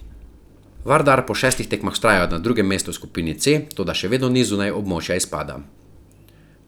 Vardar po šestih tekmah vztraja na drugem mestu v skupini C, toda še vedno ni zunaj območja izpada.